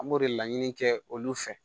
An b'o de laɲini kɛ olu fɛ